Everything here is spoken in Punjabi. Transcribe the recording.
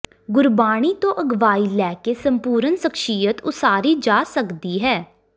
ਗੁਰਬਾਣੀ ਤੋਂ ਅਗਵਾਈ ਲੈ ਕੇ ਸੰਪੂਰਨ ਸ਼ਖ਼ਸੀਅਤ ਉਸਾਰੀ ਜਾ ਸਕਦੀ ਹੈ